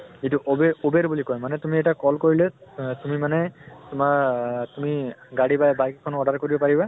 যিটো অবেৰ uber বুলি কয় । মানে তুমি এটা call কৰিলে আহ তুমি মানে তোমাৰ আহ তুমি গাড়ী বা bike খন order কৰিব পাৰিবা